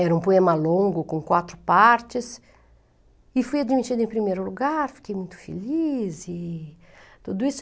Era um poema longo, com quatro partes, e fui admitida em primeiro lugar, fiquei muito feliz e tudo isso.